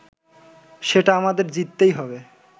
সেটা আমাদের জিততেই হবে